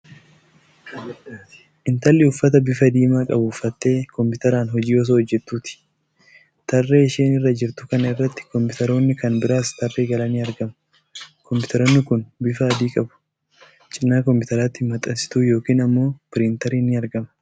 Intalli uffata bifa diimaa qabu uffattee kompiitaraan hojii osoo hojjattuuti. Tarree isheen irra jirtu kana irratti kompiitaroonni kan biraanis tarree galanii argamu. Kompitaroonni kun bifa adii qabu. Cinaa kompiitaraatti maxxansituu yookiin ammoo piriintariin ni argama.